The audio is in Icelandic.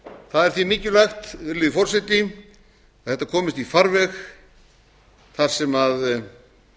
er því mikilvægt virðulegi forseti að þetta komist í farveg þar sem